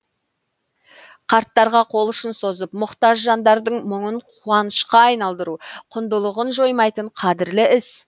қарттарға қол ұшын созып мұқтаж жандардың мұңын қуанышқа айналдыру құндылығын жоймайтын қадірлі іс